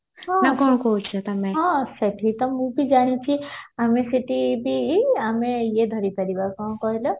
ହଁ ସେଠି ତ ମୁଁ ବି ଜାଣିଚି ଆମେ ସେଠିବି ଆମେ ଇଏ ଧରିପାରିବା କଣ କହିଲ